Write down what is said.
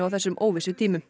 þessum óvissutímum